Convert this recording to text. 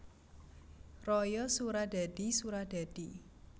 Raya Suradadi Suradadi